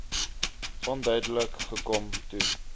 onduidelik gekom toe